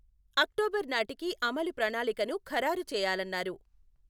October నాటికి అమలు ప్రణాళికను ఖరారు చేయాలన్నారు.